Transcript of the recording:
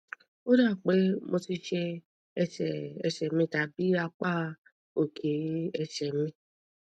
ó dà bíi pé mo ti ṣé ẹsè mi tàbí apá òkè ẹsè mi